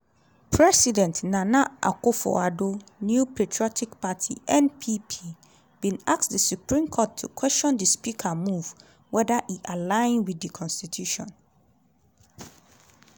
president nana akufo-addo new patriotic party (npp) bin ask di supreme court to question di speaker move weather e align wit di constitution.